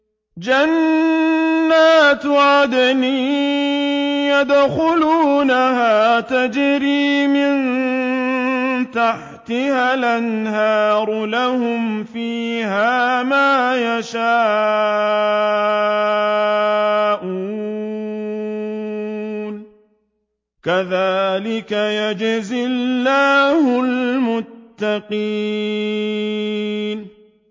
جَنَّاتُ عَدْنٍ يَدْخُلُونَهَا تَجْرِي مِن تَحْتِهَا الْأَنْهَارُ ۖ لَهُمْ فِيهَا مَا يَشَاءُونَ ۚ كَذَٰلِكَ يَجْزِي اللَّهُ الْمُتَّقِينَ